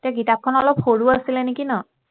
কিতাপখন অলপ সৰু আছিলেনেকি ন